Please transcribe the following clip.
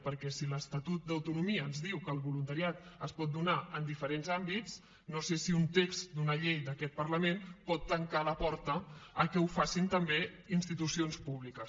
perquè si l’estatut d’autonomia ens diu que el voluntariat es pot donar en diferents àmbits no sé si un text d’una llei d’aquest parlament pot tancar la porta que ho facin també institucions públiques